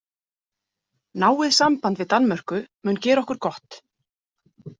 Náið samband við Danmörku mun gera okkur gott.